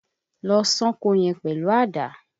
Lọ ṣánko yẹn pẹ̀lú Àdá!